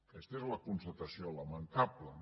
aquesta és la constatació lamentable